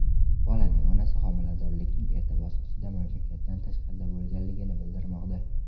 Bolaning onasi homiladorlikning erta bosqichida mamlakatdan tashqarida bo‘lgani bildirilmoqda.